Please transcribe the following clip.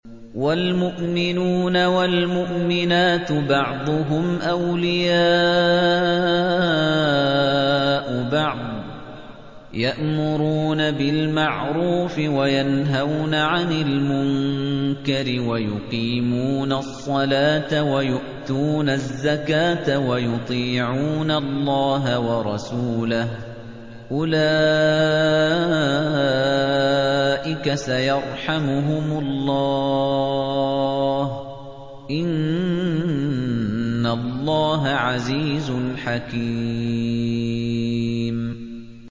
وَالْمُؤْمِنُونَ وَالْمُؤْمِنَاتُ بَعْضُهُمْ أَوْلِيَاءُ بَعْضٍ ۚ يَأْمُرُونَ بِالْمَعْرُوفِ وَيَنْهَوْنَ عَنِ الْمُنكَرِ وَيُقِيمُونَ الصَّلَاةَ وَيُؤْتُونَ الزَّكَاةَ وَيُطِيعُونَ اللَّهَ وَرَسُولَهُ ۚ أُولَٰئِكَ سَيَرْحَمُهُمُ اللَّهُ ۗ إِنَّ اللَّهَ عَزِيزٌ حَكِيمٌ